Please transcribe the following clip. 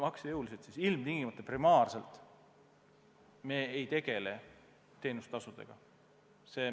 Ja seepärast me ilmtingimata, primaarselt ei tegele teenustasudega.